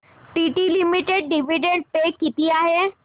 TT limited dividend pay किती आहे